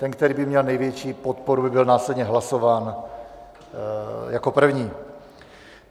Ten, který by měl největší podporu, by byl následně hlasován jako první.